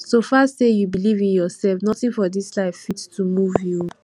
so far sey you believe in yourself nothing for dis life fit to move you